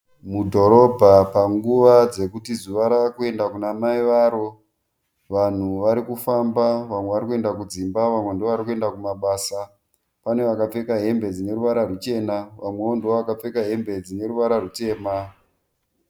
Mudhorobha panguva dzekuti zuva ravakuenda kuna mai varo. Vanhu varikufamba vamwe varikuenda kudzimba vamwe ndovarikuenda kumabasa. Pane vakapfeka hembe dzinoruvara ruchena vamwewo ndovakapfeka hembe dzine ruvara rutema.